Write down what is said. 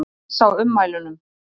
Hissa á ummælunum